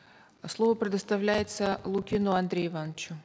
слово предоставляется лукину андрею ивановичу